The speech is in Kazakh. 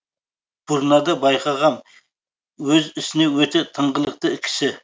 бұрнада байқағам өз ісіне өте тыңғылықты кісі